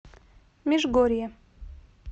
межгорье